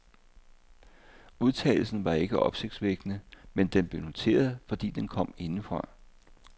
Udtalelsen var ikke opsigtsvækkende, men den blev noteret, fordi den kom indefra.